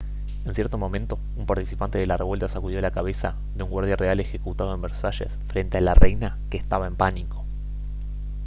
en cierto momento un participante de la revuelta sacudió la cabeza de un guardia real ejecutado en versalles frente a la reina que estaba en pánico